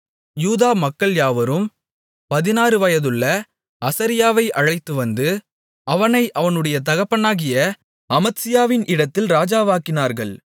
யூதா மக்கள் யாவரும் பதினாறு வயதுள்ள அசரியாவை அழைத்துவந்து அவனை அவனுடைய தகப்பனாகிய அமத்சியாவின் இடத்தில் ராஜாவாக்கினார்கள்